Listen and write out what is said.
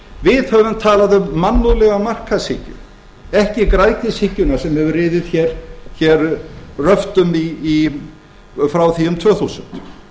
við höfum talað um mannúðlega markaðshyggju ekki græðgishyggjuna sem hefur riðið hér röftum frá því um tvö þúsund